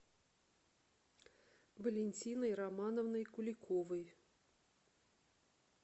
валентиной романовной куликовой